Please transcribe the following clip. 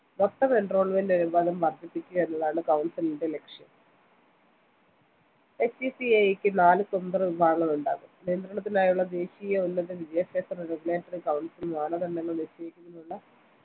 മൊത്തം enrollement അനുപാതം വർദ്ധിപ്പിക്കുക എന്നതാണ് council ലിന്റെ ലക്ഷ്യം HECI ക്ക് നാല് സ്വതന്ത്ര വിഭാഗങ്ങൾ ഉണ്ടാകും നിയന്ത്രണത്തിനായുള്ള ദേശീയ ഉന്നത വിദ്യാഭ്യാസ regulatory council മാനദണ്ഡങ്ങൾ നിശ്ചയിക്കുന്നതിനുള്ള